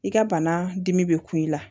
I ka bana dimi be ku i la